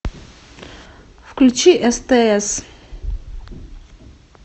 включи стс